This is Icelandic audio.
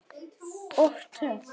Og töff!